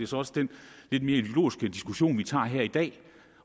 så også den lidt mere ideologiske diskussion vi tager her i dag